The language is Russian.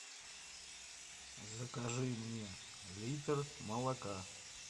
закажи мне литр молока